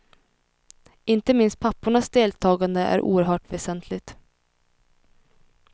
Inte minst pappornas deltagande är oerhört väsentligt.